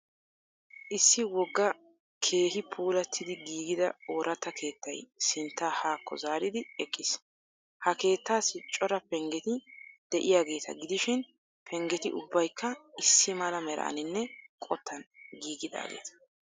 Issi wogga keehi puulattidi giigida ooratta keettay sinttaa haakko zaaridi eqqiis. Ha keettaassi cora penggeti de'iyageeta gidishin penggeti ubbaykka issi mala meraaninne qottan giigidaageeta.